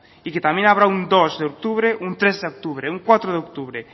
y que también habrá un dos de octubre un tres de octubre un cuatro de octubre